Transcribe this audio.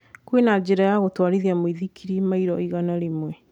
kwĩna njĩra ya gũtũarĩthĩria mũithikiri maĩro ĩgana rĩmwe